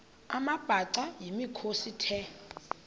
amabhaca yimikhosi the